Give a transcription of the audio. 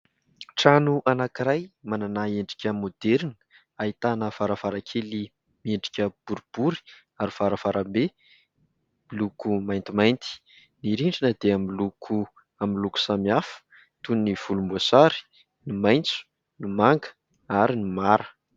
Trano anankiray manana endrika maoderina, ahitana varavarankely miendrika boribory ary varavarambe miloko maintimainty. Ny rindrina dia miloko amin'ny loko samihafa toy ny volomboasary, ny maitso, ny manga ary ny mara.